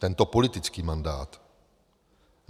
Tento politický mandát.